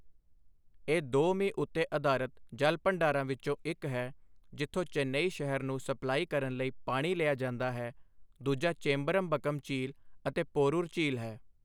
ਇਹ ਦੋ ਮੀਂਹ ਉੱਤੇ ਅਧਾਰਤ ਜਲ ਭੰਡਾਰਾਂ ਵਿੱਚੋਂ ਇੱਕ ਹੈ, ਜਿੱਥੋਂ ਚੇਨਈ ਸ਼ਹਿਰ ਨੂੰ ਸਪਲਾਈ ਕਰਨ ਲਈ ਪਾਣੀ ਲਿਆ ਜਾਂਦਾ ਹੈ, ਦੂਜਾ ਚੇਂਬਰਮਬਕਮ ਝੀਲ ਅਤੇ ਪੋਰੂਰ ਝੀਲ ਹੈ।